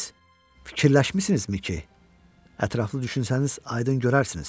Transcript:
amma siz fikirləşmisinizmi ki, ətraflı düşünsəniz, aydın görərsiniz?